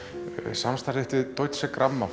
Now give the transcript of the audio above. samstarf þitt við Deutsche